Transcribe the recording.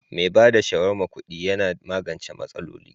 Mai ba da shawarma kudi Yana magance masaloli.